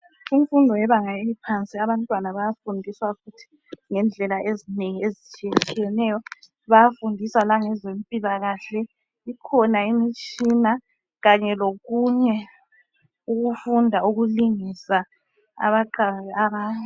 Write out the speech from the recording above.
Imfundo yebanga eliphansi abantwana bayafundiswa futhi ngendlela ezinengi ezitshiyetshiyeneyo bayafundiswa langezempilakahle kukhona imitshina kanye lokunye okufunda ukulingisa abeqayo abanye.